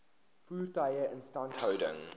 voertuie instandhouding